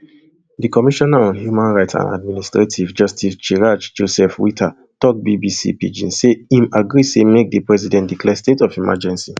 di commissioner on human rights and administrative justice chraj joseph whitta tok bbc pidgin say im agree say make di president declare state of emergency